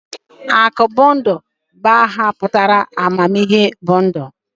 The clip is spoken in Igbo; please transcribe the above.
Akọbundụ bụ aha pụtara 'amamihe bụ ndụ'